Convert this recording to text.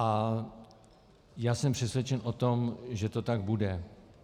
A já jsem přesvědčen o tom, že to tak bude.